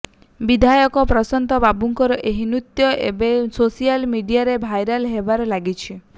ବିଧାୟକ ପ୍ରଶାନ୍ତ ବାବୁଙ୍କର ଏହି ନୃତ୍ୟ ଏବେ ସୋସିଆଲ ମିଡିଆରେ ଭାଇରାଲ ହେବାରେ ଲାଗିଛି